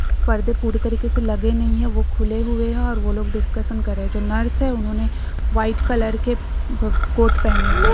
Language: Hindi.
पर्दे पूरी तरीके से लगे नही है वो खुले हुए है और वो लोग डिस्कशन कर रहे है जो नर्स है उन्होंने व्हाइट कलर के ब कोट पहने हुए है।